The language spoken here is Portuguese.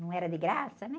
Não era de graça, né?